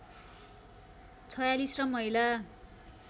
४६ र महिला